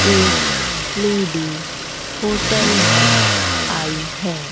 एक lady hotel में आई है।